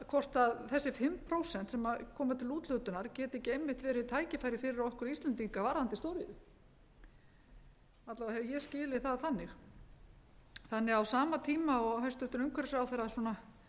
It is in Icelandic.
hvorki þessi fimm prósent sem komu til úthlutunar geti ekki einmitt verið tækifæri fyrir okkur íslendinga varðandi stóriðju alla vega hef ég skilið það þannig á sama tíma og hæstvirtur umhverfisráðherra svona